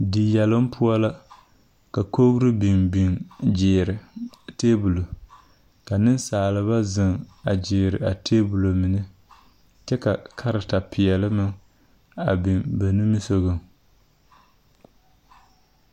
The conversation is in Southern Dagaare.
Deyelong pou la ka kɔgree bin bin jiiri tabol ka ninsaaliba zeng a jiiri a tabol mene kye ka kareta peɛle meng bing ba nimisɔgun.